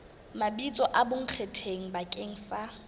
mabitso a bonkgetheng bakeng sa